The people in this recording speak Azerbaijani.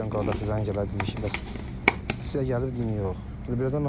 Mənə dayın qardaşı zəng elədi dedi ki, bəs sizə gəlibdim yox.